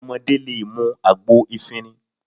Ọmọdé lè mú àgbo efinrin